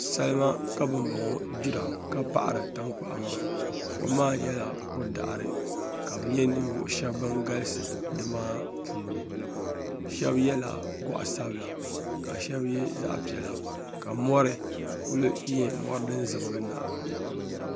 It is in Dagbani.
Salima ka ban bɔŋɔ gbira ka paɣiri tankpaɣu maa kom maa nyɛla ko' daɣiri ka bɛ ninvuɣ' shɛba ban galisi ni maa puuni shɛba yɛla gɔɣ' sabila ka shɛba ye zaɣ' piɛla mɔri kuli nyɛ mɔri din zibigI nahi ba